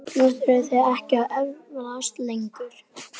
Nú þurfið þið ekki að efast lengur.